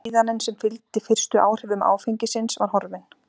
Vellíðanin sem fylgdi fyrstu áhrifum áfengisins var horfin.